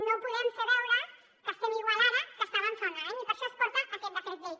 no podem fer veure que estem igual ara que estàvem fa un any i per això es porta aquest decret llei